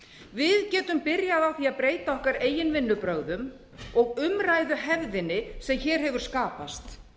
við getum byrjað á að breyta okkar eigin vinnubrögðum og umræðuhefðinni sem hér hefur skapast